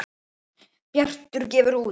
Bjartur gefur út